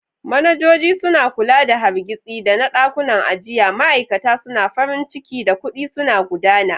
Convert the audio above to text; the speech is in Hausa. Manajoji suna kula da hargitsi, adana ɗakunan ajiya, ma'aikata suna farin ciki, da kuɗi suna gudana.